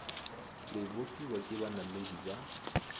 le bofiwa ke banamedi ba